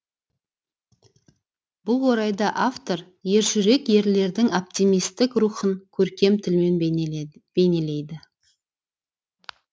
бұл орайда автор ержүрек ерлердің оптимистік рухын көркем тілмен бейнелейді